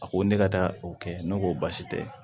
A ko ne ka taa o kɛ ne ko basi tɛ